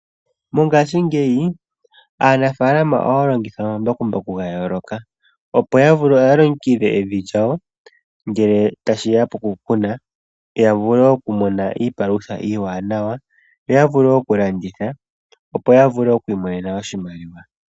Mongashingeyi aanafaalama ohaya longitha omambakumbaku ga yooloka opo ya longekidhe evi lyawo ngele ta shiya poku kuna. Ya vule oku mona iipalutha iiwanawa, yo ya vule oku landitha opo yavule okwiimonena oshimaliwa.